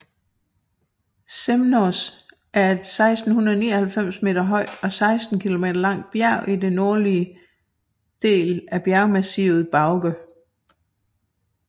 Semnoz er et 1699 meter højt og 16 kilometer langt bjerg i den nordlige del af bjergmassivet Bauge